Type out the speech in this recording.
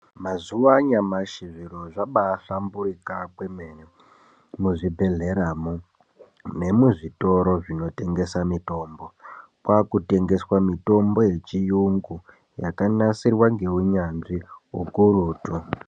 Mazuwa anyamashi zviro zvabaahlamburika kwemene muzvibhedhleramo nemuzvitoro zvinotengesa mitombo . Kwaakutengeswa mitombo yechiyungu yakanasirwa ngeunyanzi ukurutu.